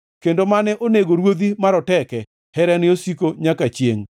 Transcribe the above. kendo mane onego ruodhi maroteke; Herane osiko nyaka chiengʼ.